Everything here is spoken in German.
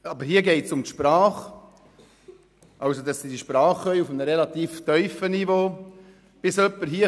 Aber hier geht es darum, dass sie die Sprache auf einem relativ tiefen Niveau beherrschen sollen.